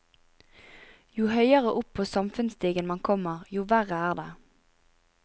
Jo høyere opp på samfunnsstigen man kommer, jo verre er det.